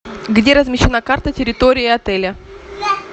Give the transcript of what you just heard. где размещена карта территории отеля